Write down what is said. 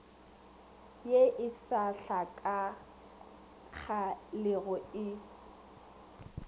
ye e sa hlakagalego e